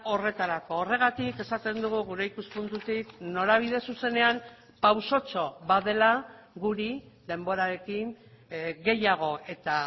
horretarako horregatik esaten dugu gure ikuspuntutik norabide zuzenean pausotxo bat dela guri denborarekin gehiago eta